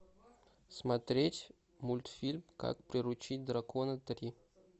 смотреть мультфильм как приручить дракона три